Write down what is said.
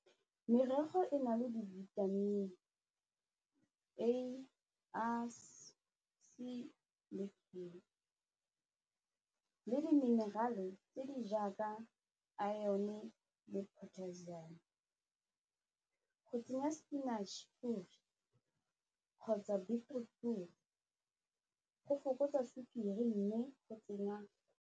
Merogo e na le di-vitamin le di-mineral-e tse di jaaka iron le potassium, go tsenya spinach kgotsa beetroot go fokotsa sukiri mme go tsenya.